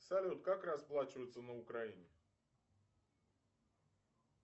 салют как расплачиваться на украине